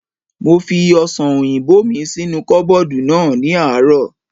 Mo fi ọ̀sàn òyìnbó mi sínú kọ́bọ̀dù náà ní àárọ̀